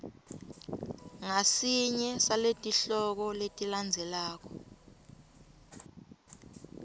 ngasinye saletihloko letilandzelako